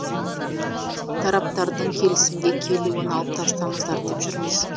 тараптардың келісімге келуін алып тастаңыздар деп жүрміз